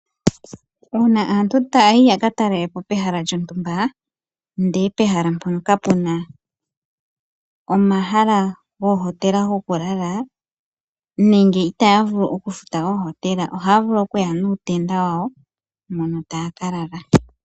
Uuna aantu tayayi yaka talelapo pehala lyontumba ndele pehala mpono kapena omahala goku lala nenge itaya vulu okufuta oohotela ohaya vulu okuya nuutenda wawo mono taya ka lala.